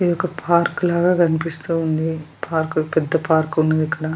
ఇది ఒక పార్క్ లాగ కనిపిస్తూ ఉంధి పార్క్ పెద్ద పార్క్ ఉన్నది ఇక్కడ .